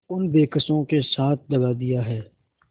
उन बेकसों के साथ दगा दिया है